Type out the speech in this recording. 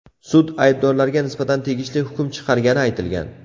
Sud aybdorlarga nisbatan tegishli hukm chiqargani aytilgan.